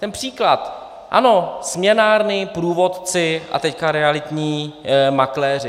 Ten příklad, ano, směnárny, průvodci a teď realitní makléři.